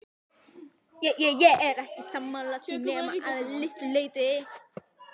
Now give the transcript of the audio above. Ég er ekki sammála því nema að litlu leyti.